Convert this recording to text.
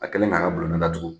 A kɛlen k'a bulonda datugu